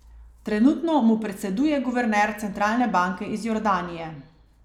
Trenutno mu predseduje guverner centralne banke iz Jordanije.